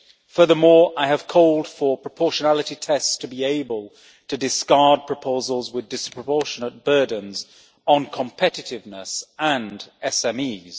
Furthermore, I have called for proportionality tests to be able to discard proposals with disproportionate burdens on competitiveness and SMEs.